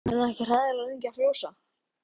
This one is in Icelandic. Er hann ekki hræðilega lengi að frjósa?